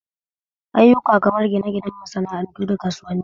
Ayyuka kamar gina ginan masa'antu da kasuwanni